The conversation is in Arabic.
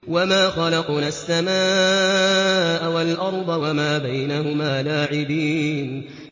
وَمَا خَلَقْنَا السَّمَاءَ وَالْأَرْضَ وَمَا بَيْنَهُمَا لَاعِبِينَ